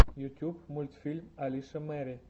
ютуб мультфильм алиша мэри